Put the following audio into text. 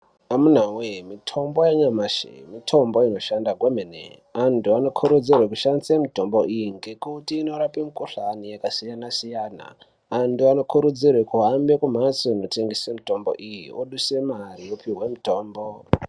Amunawee mitombo yanyamashi mitombo inoshanda kwemene. Antu anokurudzirwe kushandise mitombo iyi ngekuti inorape mikhuhlani yakasiyana-siyana. Antu anokurudzirwe kuhambe kumhatso inotengeswe mitombo iyi, oduse mare opihwe mitombo.